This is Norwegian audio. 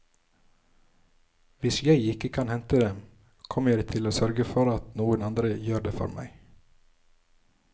Hvis jeg ikke kan hente dem, kommer jeg til å sørge for at noen andre gjør det for meg.